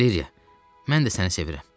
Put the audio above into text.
Valeriya, mən də səni sevirəm.